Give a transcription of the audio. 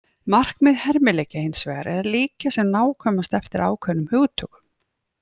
Markmið hermileikja hins vegar er að líkja sem nákvæmast eftir ákveðnum hugtökum.